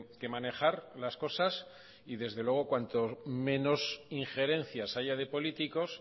que manejar las cosas y desde luego cuanto menos injerencias haya de políticos